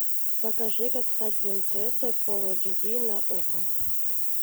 покажи как стать принцессой фул эйч ди на окко